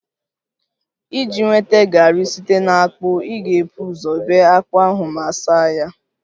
Iji nweta garri site na akpu, ị ga-ebu ụzọ bee akpu ahụ ma saa ya